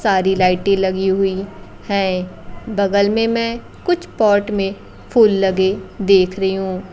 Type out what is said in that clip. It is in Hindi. सारी लाइटे लगी हुई है बगल में मैं कुछ पॉट में फूल लगे देख रही हूं--